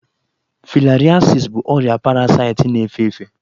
Filariasis bụ ọrịa parasaịtị na-efe efe